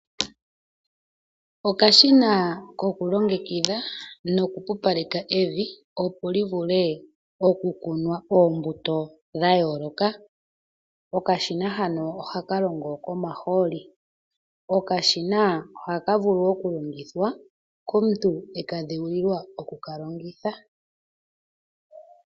Okashina koku longekidha nokupupaleka emvi, opo li vule oku kunwa oombuto dha yooloka. Okashina hano ohaka longo komahooli. Okashina ohaka vulu wo oku longithwa komuntu e ka dhewulilwa oku ka longitha.